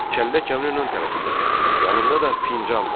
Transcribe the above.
Çəllək kəmrin ön tərəfindədir, yanında da fincan var.